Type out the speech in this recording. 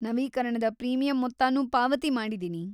ನವೀಕರಣದ ಪ್ರೀಮಿಯಂ ಮೊತ್ತನೂ ಪಾವತಿ ಮಾಡಿದೀನಿ.